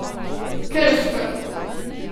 Krško.